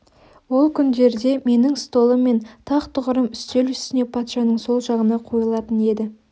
ол күндерде менің столым мен тақ тұғырым үстел үстіне патшаның сол жағына қойылатын еді